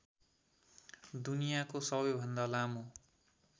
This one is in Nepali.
दुनियाँको सबैभन्दा लामो